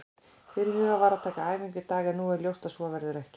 Fyrirhugað var að taka æfingu í dag en nú er ljóst að svo verður ekki.